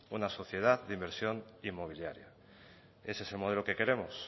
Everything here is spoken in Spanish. una sociedad de inversión inmobiliaria ese es el modelo que queremos